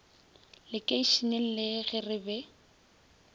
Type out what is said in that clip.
lekeišeneng le ge re be